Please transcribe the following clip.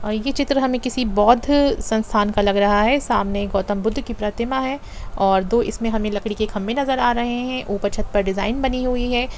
यह चित्र हमें किसी बौद्ध संस्थान का लग रहा है सामने एक गौतम बुद्ध की प्रतिमा है और दो हमें इसमे लकड़ी के खम्बे नज़र आ रहे है ऊपर छत पर डिज़ाइन बनी हुई है।